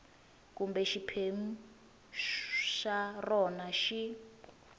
kumbe xiphemu xa rona xi